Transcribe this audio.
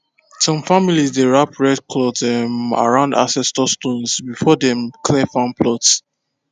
some families dey wrap red cloth um around ancestor stones before them clear farm plots